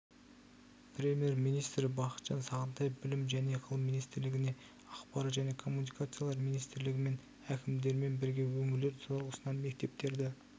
премьер-министрі бақытжан сағынтаев білім және ғылым министрлігіне ақпарат және коммуникациялар министрлігімен әкімдермен бірге өңірлер тұрғысынан мектептерді